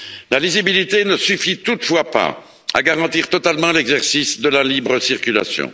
La lisibilité ne suffit toutefois pas à garantir totalement l'exercice de la libre circulation.